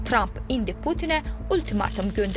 Tramp indi Putinə ultimatum göndərir.